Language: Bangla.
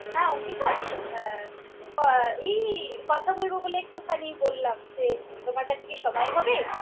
হ্যাঁ অঙ্কিতা, আ~ ব~ এই কথা বলব বলে একটুখানি বললাম যে তোমার কাছে কি সময় হবে?